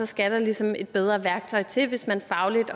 skal ligesom et bedre værktøj til hvis man fagligt